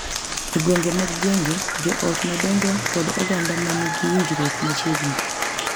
E gwenge mag gwenge, jo ot madongo kod oganda ma nigi winjruok machiegni